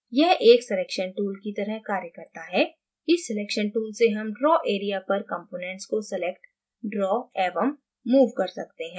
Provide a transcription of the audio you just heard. यह एक selection tool की तरह कार्य करता है इस selection tool से हम draw area पर components को select draw एवं move कर सकते हैं